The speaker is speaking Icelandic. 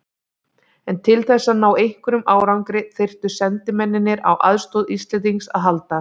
En til þess að ná einhverjum árangri þyrftu sendimennirnir á aðstoð Íslendings að halda.